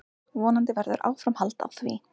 Vonandi verður áframhald á því.